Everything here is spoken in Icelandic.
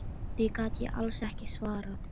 Því gat ég alls ekki svarað.